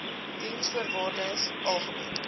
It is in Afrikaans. diensvoorwaardesalgemene